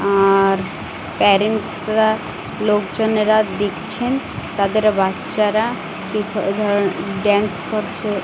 আর arrange -রা লোকজনেরা দিচ্ছেন তাদের বাচ্চারা কি ধ ড্যান্স করছে।